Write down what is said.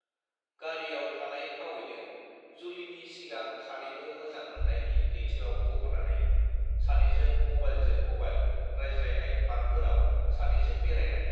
गारियाव थानाय फावयैनो जुलिनि सिगां सानैबो मोजां मोननायनि लैथोआव गबनानै सानैजों मबाइलजों मबाइल रायज्लायनाय पार्कफोराव सानैजों बेरायनाय